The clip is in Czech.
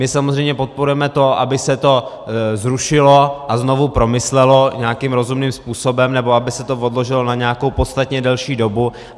My samozřejmě podporujeme to, aby se to zrušilo a znovu promyslelo nějakým rozumným způsobem, nebo aby se to odložilo na nějakou podstatně delší dobu.